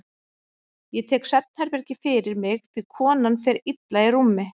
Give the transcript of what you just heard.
Ég tek svefnherbergið fyrir mig því konan fer illa í rúmi.